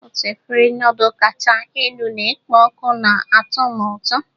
Otu efere nudul kacha elu na-ekpo ọkụ na-atọ m ụtọ.